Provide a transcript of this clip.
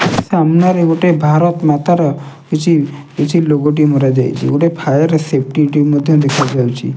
ସାମ୍ନାରେ ଗୋଟେ ଭାରତ୍ ମାତାର କିଛି କିଛି ଲୋଗ ଟି ମରାଯାଇଚି ଗୋଟେ ଫାୟାର ସେଫ୍ଟି ଟିମ୍ ମଧ୍ୟ ଦେଖାଯାଉଚି ।